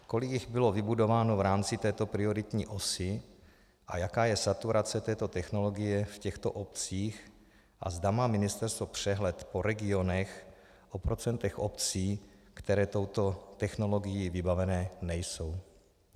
Kolik jich bylo vybudováno v rámci této prioritní osy a jaká je saturace této technologie v těchto obcích a zda má ministerstvo přehled o regionech, o procentech obcí, které touto technologií vybavené nejsou?